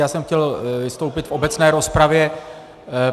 Já jsem chtěl vystoupit v obecné rozpravě.